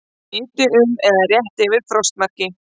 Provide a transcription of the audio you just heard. Hiti um eða rétt yfir frostmarki